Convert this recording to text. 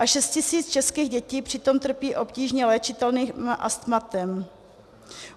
A 6 tisíc českých dětí přitom trpí obtížně léčitelným astmatem.